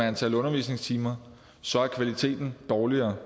antallet af undervisningstimer så er kvaliteten dårligere